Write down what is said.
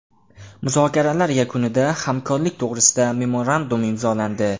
Muzokaralar yakunida hamkorlik to‘g‘risida memorandum imzolandi.